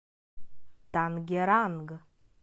тангеранг